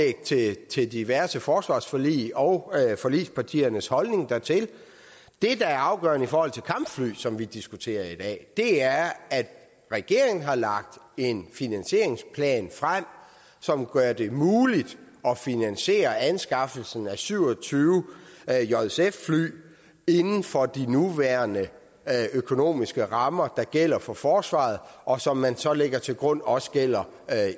til diverse forsvarsforlig og forligspartiernes holdning dertil det der er afgørende i forhold til kampfly som vi diskuterer i dag er at regeringen har lagt en finansieringsplan frem som gør det muligt at finansiere anskaffelsen af syv og tyve jsf fly inden for de nuværende økonomiske rammer der gælder for forsvaret og som man så lægger til grund også gælder